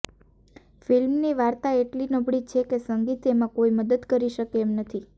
ફિલ્મની વાર્તા એટલી નબળી છે કે સંગીત એમાં કોઇ મદદ કરી શકે એમ નથી